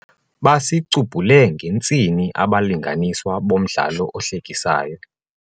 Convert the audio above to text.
Basicubhule ngentsini abalinganiswa bomdlalo ohlekisayo.